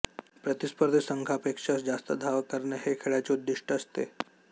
प्रतिस्पर्धी संघापेक्षा जास्त धावा करणे हे खेळाचे उद्दीष्ट असते